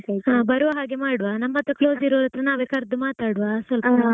ಹಾ ಬರುವ ಹಾಗೆ ಮಾಡುವಾ ನಮ್ಮತ್ರ close ಇರುವವರ ಹತ್ತಿರ ನಾವೇ ಕರ್ದು ಮಾತಾಡ್ವ .